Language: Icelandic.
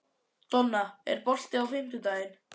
Donna, er bolti á fimmtudaginn?